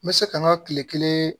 N bɛ se ka n ka kile kelen